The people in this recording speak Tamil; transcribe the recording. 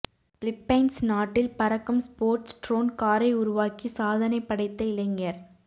பிலிப்பைன்ஸ் நாட்டில் பறக்கும் ஸ்போட்ஸ் ட்ரோன் காரை உருவாக்கி சாதனை படைத்த இளைஞர்